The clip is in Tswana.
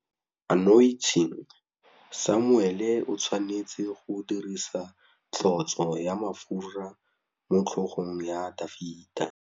Samuele o tshwanetse go dirisa tlotsô ya mafura motlhôgong ya Dafita.